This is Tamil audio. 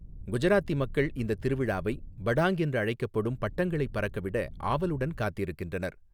குஜராத்தி மக்கள் இந்த திருவிழாவை 'படாங்' என்று அழைக்கப்படும் பட்டங்களைப் பறக்கவிட ஆவலுடன் காத்திருக்கின்றனர்.